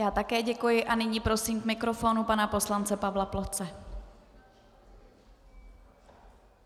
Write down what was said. Já také děkuji a nyní prosím k mikrofonu pana poslance Pavla Ploce.